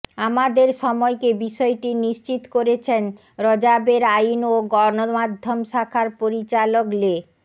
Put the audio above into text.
আমাদের সময়কে বিষয়টি নিশ্চিত করেছেন র্যাবের আইন ও গণমাধ্যম শাখার পরিচালক লে